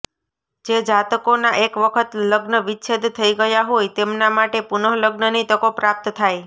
જે જાતકોના એક વખત લગ્ન વિચ્છેદ થઈ ગયા હોય તેમના માટે પુનઃલગ્નની તકો પ્રાપ્ત થાય